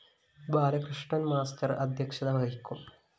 ബാലകൃഷ്ണന്‍ master അധ്യക്ഷത വഹിക്കും